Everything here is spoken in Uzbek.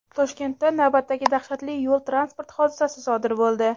Toshkentda navbatdagi dahshatli yo‘l-transport hodisasi sodir bo‘ldi.